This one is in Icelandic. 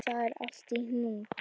Það er allt í hnút